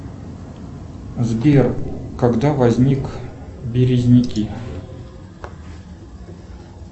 сбер когда возник березники